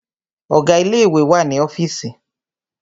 Ọ̀gá ilé ìwé wà ní ọ́fììsì.